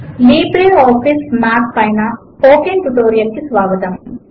LibreOffice Math పైన spoken tutorial కు స్వాగతము